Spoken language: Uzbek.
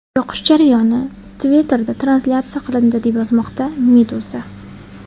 Yoqish jarayoni Twitter’da translyatsiya qilindi, deb yozmoqda Meduza.